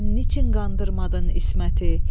Sən niçin qandırmadın İsməti,